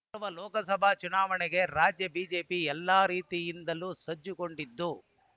ಮುಂಬರುವ ಲೋಕಸಭಾ ಚುನಾವಣೆಗೆ ರಾಜ್ಯ ಬಿಜೆಪಿ ಎಲ್ಲ ರೀತಿಯಿಂದಲೂ ಸಜ್ಜುಗೊಂಡಿದ್ದು